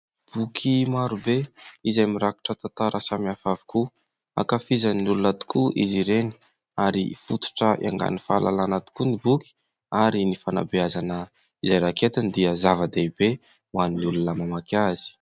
Boky marobe izay mirakitra tantara samihafa avokoa ankafizin'ny olona tokoa izy ireny ary fototra iaingan'ny fahalalàna tokoa ny boky ary fanabeazana izay raketiny dia zava-dehibe ho an'ny olona mamaky azy.